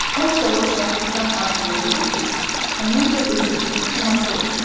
Az qala uşaqlıqdan arzulayırdı ki, onun da öz evi, koması olsun.